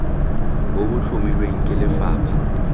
bo bo tlhomilweng ke lefapha